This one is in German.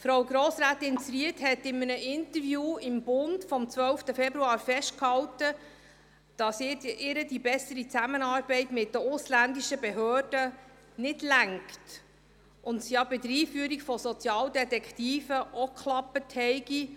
Frau Grossrätin Zryd hat in einem Interview im «Bund» vom 12. Februar festgehalten, dass ihr die bessere Zusammenarbeit mit den ausländischen Behörden nicht reiche, und es ja mit der Einführung von Sozialdetektiven auch geklappt habe.